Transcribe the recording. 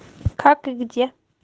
как и где